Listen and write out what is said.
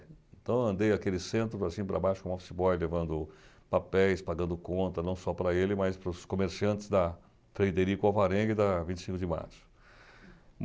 Então, eu andei aquele centro, para cima , para baixo, como office boy, levando papéis, pagando conta, não só para ele, mas para os comerciantes da Frederico Alvarenga e da vinte e cinco de Março.